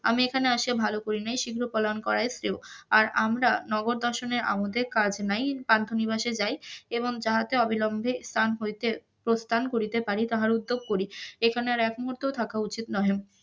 আমি এখানে আসিয়া ভাল করি নাই শীঘ্র পলায়ন করাই শ্রেয়, আর আমরা নগর দর্শনে আমুদে কাজ নাই পান্থ নিবাসে যাই, এবং অবিলম্বে স্থান হইতে প্রস্থান করিতে পারি তাহার উদ্যোগ করি, এখানে আর এক মুহুর্ত থাকা উচিৎ নহে,